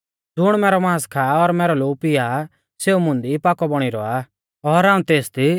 ज़ुण मैरौ मांस खा और मैरौ लोऊ पिया आ सेऊ मुंदी पाकौ बौणी रौआ आ और हाऊं तेसदी